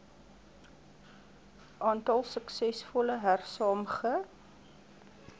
aantal suksesvolle hersaamge